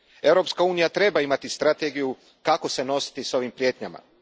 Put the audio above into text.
Europska unija treba imati strategiju kako se nositi s ovim prijetnjama.